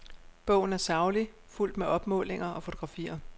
Bogen er saglig, fuldt med opmålinger og fotografier.